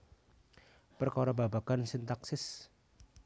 Perkara babagan sintaksis